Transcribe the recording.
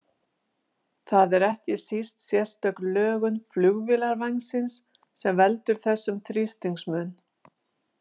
Það er ekki síst sérstök lögun flugvélarvængsins sem veldur þessum þrýstingsmun.